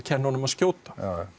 skjóta